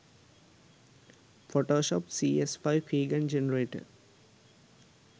photoshop cs5 keygen generator